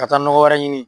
Ka taa nɔgɔ wɛrɛ ɲini